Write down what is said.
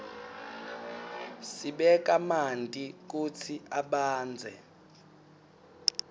sibeka manti kutsi abandze